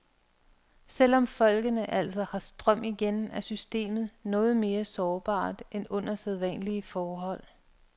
Selv om folkene altså har strøm igen, er systemet noget mere sårbart end under sædvanlige forhold.